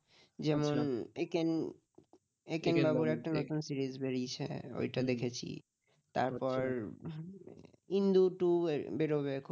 ইন্দু Two বেরোবে খুব